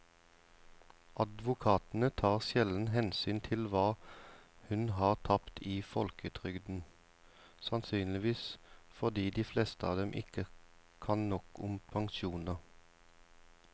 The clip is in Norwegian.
Advokatene tar sjelden hensyn til hva hun har tapt i folketrygden, sannsynligvis fordi de fleste av dem ikke kan nok om pensjoner.